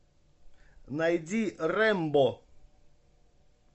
найди рэмбо